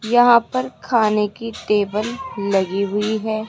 यहां पर खाने की टेबल लगी हुई है।